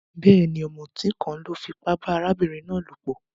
Béèni, òmùtí kan lo fipá ba arábìnrin náà lòpò